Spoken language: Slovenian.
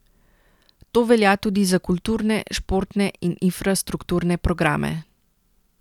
To velja tudi za kulturne, športne in infrastrukturne programe.